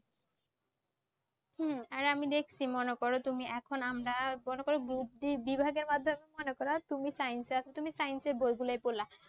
হম। আর আমি দেখছি মনে করো তুমি, এখন আমরা মনে করো group টির বিভাগের মাধ্যমে মনে করো তুমি science এর তুমি science এর বইগুলি ইয়ে করলা।